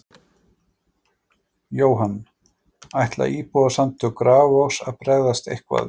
Jóhann: Ætla Íbúasamtök Grafarvogs að bregðast eitthvað við?